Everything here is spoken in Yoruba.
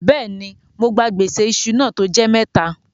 Bẹ́ẹ̀ni, mó gbà gbèsè ìṣù náà tó jẹ́ mẹ́tà.